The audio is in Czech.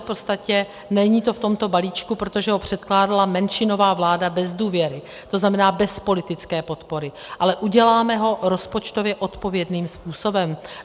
V podstatě to není v tomto balíčku, protože ho předkládala menšinová vláda bez důvěry, to znamená bez politické podpory, ale uděláme ho rozpočtově odpovědným způsobem.